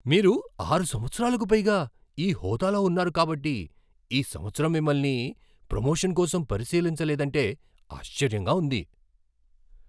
మీరు ఆరు సంవత్సరాలకు పైగా ఈ హోదాలో ఉన్నారు కాబట్టి ఈ సంవత్సరం మిమ్మల్ని ప్రమోషన్ కోసం పరిశీలించ లేదంటే ఆశ్చర్యంగా ఉంది.